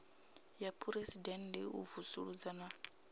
ya phuresidennde u vusuludza na